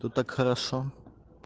тут так хорошо